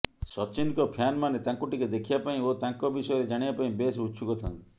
ସଚିନଙ୍କ ଫ୍ୟାନମାନେ ତାଙ୍କୁ ଟିକେ ଦେଖିବା ପାଇଁ ଓ ତାଙ୍କ ବିଷୟରେ ଜାଣିବା ପାଇଁ ବେଶ୍ ଉତ୍ସୁକ ଥାନ୍ତି